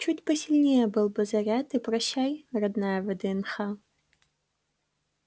чуть посильнее был бы заряд и прощай родная вднх